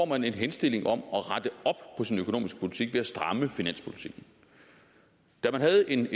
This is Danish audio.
man en henstilling om at på sin økonomiske politik ved at stramme finanspolitikken da man havde en